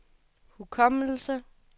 hukommelse